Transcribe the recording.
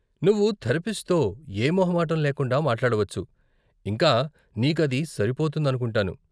నువ్వు థెరపిస్ట్తో ఏ మొహమాటం లేకుండా మాట్లాడవచ్చు, ఇంకా నీకు అది సరిపోతుందనుకుంటాను.